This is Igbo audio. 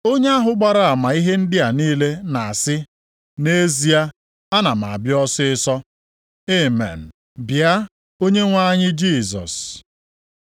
Onye ahụ gbara ama ihe ndị a niile na-asị, “Nʼezie, ana m abịa ọsịịsọ.” Amen. Bịa, Onyenwe anyị Jisọs.